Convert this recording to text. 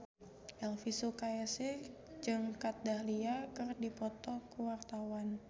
Elvi Sukaesih jeung Kat Dahlia keur dipoto ku wartawan